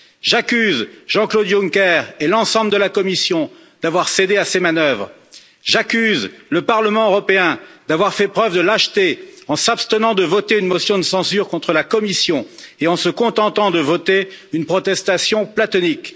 J'accuse Jean Claude Juncker et l'ensemble de la Commission d'avoir cédé à ces manœuvres. J'accuse le Parlement européen d'avoir fait preuve de lâcheté en s'abstenant de voter une motion de censure contre la Commission et en se contentant de voter une protestation platonique.